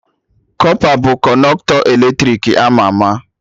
Kọpa bụ Kọnọktọ eletrik ama ama